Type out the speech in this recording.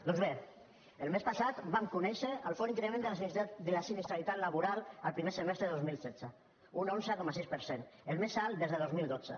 doncs bé el mes passat vam conèixer el fort increment de la sinistralitat laboral el primer semestre del dos mil setze un onze coma sis per cent el més alt des de dos mil dotze